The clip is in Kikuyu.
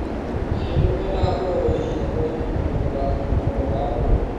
mahiũ ni mendaga kũrorũo ihinda kwa ihinda niũndũ wa ũgima mwega wa mwĩrĩ